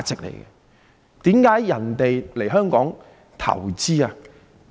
為何人們要來香港投資？